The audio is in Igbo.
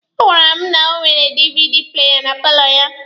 Ọ gwara m na o nwere DVD playa na paalọ ya.